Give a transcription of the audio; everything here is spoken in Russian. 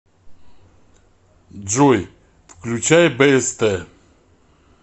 джой включай бст